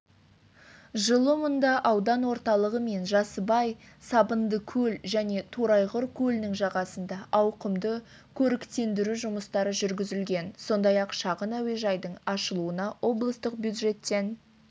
жылы мұнда аудан орталығы мен жасыбай сабындыкөл және торайғыр көлінің жағасында ауқымды көріктендіру жұмыстары жүргізілген сондай-ақ шағын әуежайдың ашылуына облыстық бюджеттен